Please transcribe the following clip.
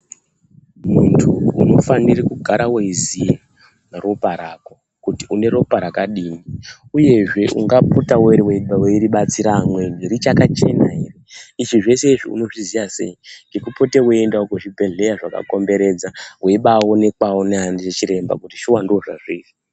Muntu unofanira kugara weiziya ropa rako kuti une ropa rakadini. Uyezve ungapotawo weidetsera vamweni richakachena ere, izvi unozviziya sei, ngekupota weindawo kuzvibhedhlera zvakakomberedza weibaonekwawo ndiana chiremba kuti shuwa ndozvazviri.